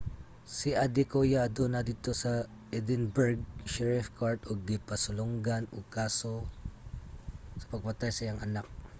si adekoya aduna didto sa edinburgh sherrif court ug gipasulongan ug kaso sa pagpatay sa iyang anak